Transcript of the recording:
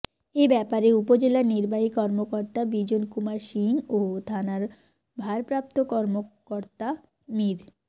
এ ব্যাপারে উপজেলা নির্বাহী কর্মকর্তা বিজন কুমার সিংহ ও থানার ভারপ্রাপ্ত কর্মকর্তা মীর মো